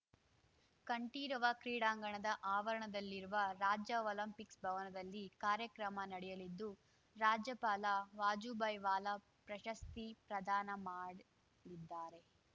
ಕಂಠೀರವ ಕ್ರೀಡಾಂಗಣದ ಆವರಣದಲ್ಲಿರುವ ರಾಜ್ಯ ಒಲಿಂಪಿಕ್ಸ್ ಭವನದಲ್ಲಿ ಕಾರ್ಯಕ್ರಮ ನಡೆಯಲಿದ್ದು ರಾಜ್ಯಪಾಲ ವಾಜುಭಾಯಿ ವಾಲಾ ಪ್ರಶಸ್ತಿ ಪ್ರದಾನ ಮಾಡಲಿದ್ದಾರೆ